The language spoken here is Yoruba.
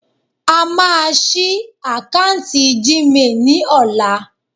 A máa ṣí akáǹtì Gmail ni ola